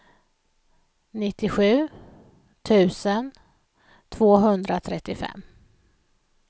nittiosju tusen tvåhundratrettiofem